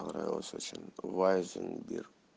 понравилась очень вайзенберг